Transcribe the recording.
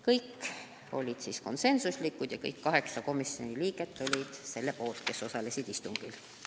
Kõik otsused olid konsensuslikud, kõik 8 komisjoni liiget, kes istungil osalesid, olid selle poolt.